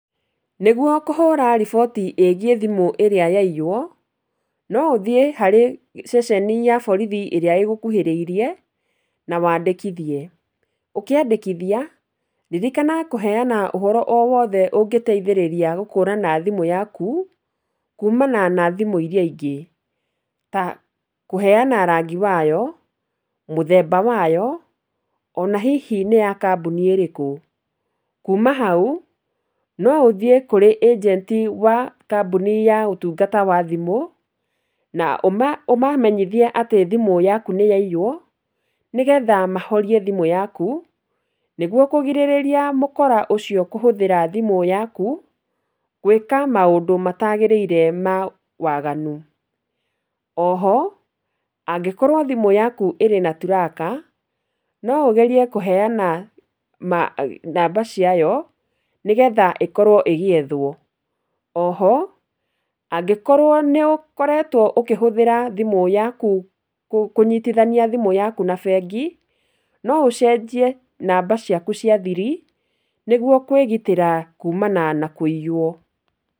Nĩguo kũhũra riboti ĩgiĩ thimũ ĩrĩa yaiywo, no ũthiĩ harĩ ceceni ya borithi ĩrĩa ĩgũkuhĩrĩirie, na wandĩkithie, ũkĩandĩkithia, ririkana kũheyana ũhoro o wothe ũngĩteithĩrĩria gũkũrana thimũ yaku, kuumana na thimũ iria ingĩ, ta kũheyana rangi wayo, mũthemba wayo, ona hihi nĩ ya kambuni ĩrĩkũ, kuuma hau, noũthiĩ kũrĩ ĩgenti wa kambuni ya ũtungata wa thimũ, na ũma ũmamenyithie atĩ thimũ yaku nĩ yaiywo, nĩgetha mahorie thimũ yaku, nĩguo kũgirĩrĩria mũkora ũcio kũhũthĩra thimũ yaku, gwĩka maũndũ matagĩrĩire ma waganu, oho, angĩkorwo thimũ yaku ĩrĩ na turaka, no ũgerie kũheyana ma namba ciayo, nĩgetha ĩkorwo ĩgĩethwo, oho, angĩkorwo nĩ ũkoretwo ũkĩhũthĩra thimũ yaku, kũnyitithania thimũ yaku na bengi, no ũcenjie namba ciaku cia thiri, nĩguo kwĩgitĩra kuumana na kwĩiywo.